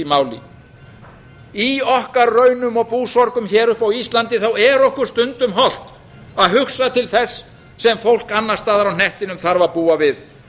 máli í okkar raunum og búsorgum hér uppi á íslandi er okkur stundum hollt að hugsa til þess sem fólk annars staðar á hnettinum þarf að búa við